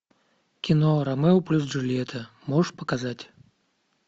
кино ромео плюс джульетта можешь показать